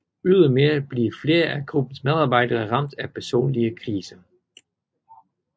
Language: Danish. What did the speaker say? Ydermere bliver flere af gruppens medarbejdere ramt af personlige kriser